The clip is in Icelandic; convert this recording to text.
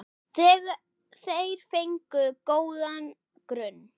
Þeir fengu góðan grunn.